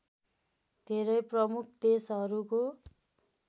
धेरै प्रमुख देशहरूको